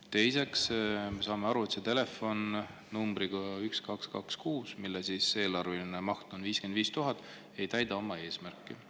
Teiseks, me saame aru, et see telefon numbriga 1226, mille eelarve maht on 55 000, ei täida oma eesmärki.